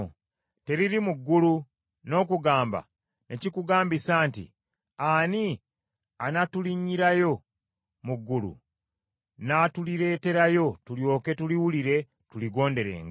Teriri mu ggulu, n’okugamba ne kikugambisa nti, “Ani anaatulinnyirayo mu ggulu n’atulireeterayo tulyoke tuliwulire tuligonderenga?”